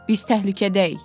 Biz təhlükədəyik!